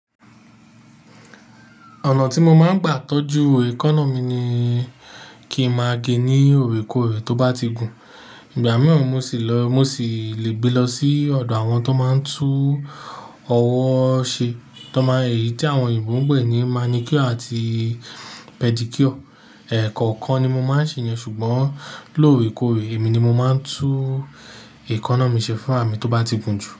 Ọ̀nà tí mo máa ń gbà tọ́jú ekánna mi ni kí n máa gé ní òrèkóòrè tó bá ti gùn. Ìgbà mìràn, mo sì lè gbé lọ sí ọ̀dọ̀ àwọn tó máa ń tú ọwọ́ ṣe, èyí tí àwọn Yorùbá ń pè ní manicure àti pedicure. Ẹ̀ẹ̀kò kan ni mo máa ń ṣèyán ṣùgbọ́n lóòrèkóòrè, èmi ni mo máa ń tú ekánna mi ṣe fún ra mí tó bá ti gun jù.